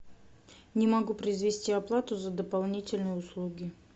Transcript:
не могу произвести оплату за дополнительные услуги